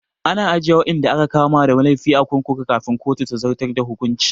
Ana ajiye waɗanda aka kama da laifi a kurkuku kafin kotu ta zartar da hukuncin